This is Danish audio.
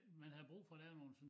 Mn havde brug for at lave noget sådan